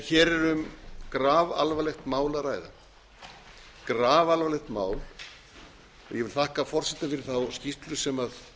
hér erum grafalvarlegt mál að ræða og ég vil þakka forseta fyrir þá skýrslu sem